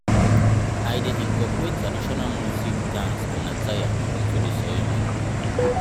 i dey incorporate traditional music dance and attire into di ceremony.